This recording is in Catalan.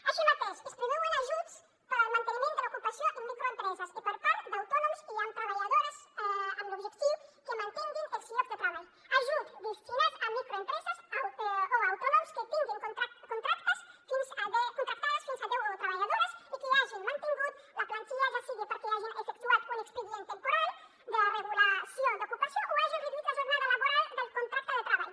així mateix es preveuen ajuts per al manteniment de l’ocupació en microempreses i per a autònoms amb treballadores amb l’objectiu que mantinguin els llocs de treball ajuts destinats a microempreses o autònoms que tinguin contractades fins a deu treballadores i que hagin mantingut la plantilla ja sigui perquè hagin efectuat un expedient temporal de regulació d’ocupació o hagin reduït la jornada laboral del contracte de treball